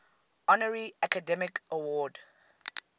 honorary academy award